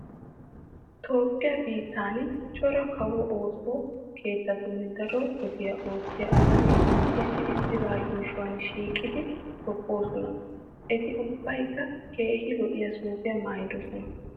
Toophphiya biittan cora kawo ooso keettatun daro wode oottiya asati issi issiba yuushuwan shiiqidi tobboosona. Eti ubbaykka keehi lo'iya suufiya maayidosona.